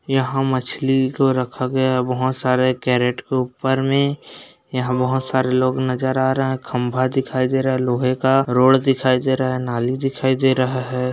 यहाँ मछली को रखा गया है बहोत सारे केरेट को ऊपर में यहाँ बहोत सारे लोग नजर आ रहा खम्भा दिखाई दे रहा है लोहे का रोड दिखाई दे रहा है नाली दिखाई दे रहा है।